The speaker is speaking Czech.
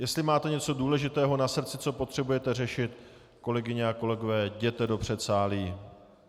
Jestli máte něco důležitého na srdci, co potřebujete řešit, kolegyně a kolegové, jděte do předsálí.